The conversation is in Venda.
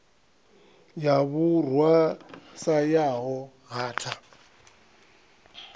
ya vhurwa sa yaho hatha